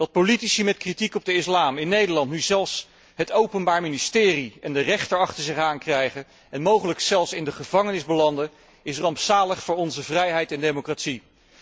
Dat politici met kritiek op de islam in Nederland nu zelfs het Openbaar Ministerie en de rechter achter zich aan krijgen en mogelijk zelfs in de gevangenis belanden, is rampzalig voor onze vrijheid en democratie.